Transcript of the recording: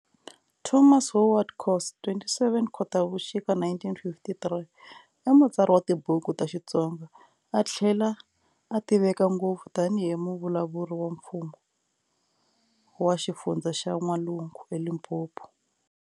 Thomas Howard Khosa, "27 Khotavuxika 1953", i mutsari wa tibuku ta xitsonga, a thlela a tiveka ngopfu tani hi muvulavuleri wa mfumo wa xifundza xa Nw'alungu, Limpopo.